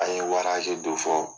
An ye waraze do fɔ